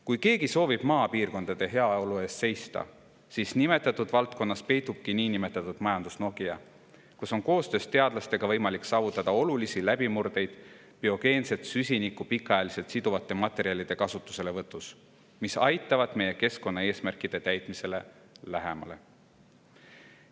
Kui keegi soovib maapiirkondade heaolu eest seista, siis nimetatud valdkonnas peitubki niinimetatud majandus-Nokia, kus on koostöös teadlastega võimalik saavutada olulisi läbimurdeid biogeenset süsinikku pikaajaliselt siduvate materjalide kasutuselevõtus, mis aitavad meid keskkonnaeesmärkide täitmisele lähemale.